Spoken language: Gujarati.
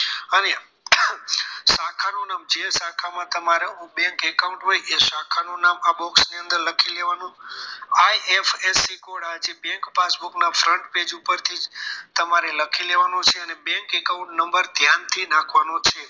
જે શાખામાં તમારે bank account હોય એ શાખા નું નામ આ box ની અંદર લખી દેવાનું આ એક્સ એક્સ બીકોળા છે bank passbook ના front page ઉપર થી તમારે લખી દેવાનું છે અને bank account number ધ્યાનથી નાખવાનો છે